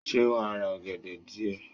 Sé wàá ra ọ̀gẹ̀dẹ̀ díè